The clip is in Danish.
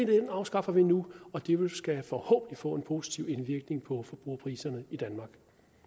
vi afskaffer nu og det vil forhåbentlig få en positiv indvirkning på forbrugerpriserne i danmark